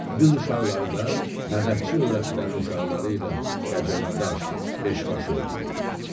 Qız uşaqları da mədədçi övrətlərin uşaqları ilə qəcəmədaş, beşbaş oynayırlar.